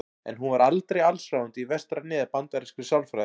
En hún var aldrei allsráðandi í vestrænni eða bandarískri sálfræði.